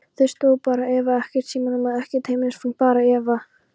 Þar stóð bara Eva, ekkert símanúmer, ekkert heimilisfang, bara Eva.